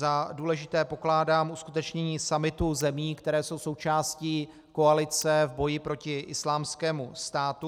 Za důležité pokládám uskutečnění summitu zemí, které jsou součástí koalice v boji proti Islámskému státu.